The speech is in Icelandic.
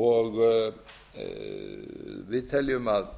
og við teljum að